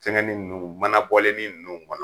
Fɛngɛn ni ninnu manabɔlini ninnu kɔnɔ